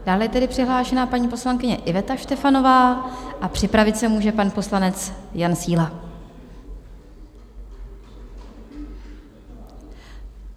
Dále je tedy přihlášena paní poslankyně Iveta Štefanová a připravit se může pan poslanec Jan Síla.